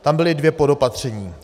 Tam byla dvě podopatření.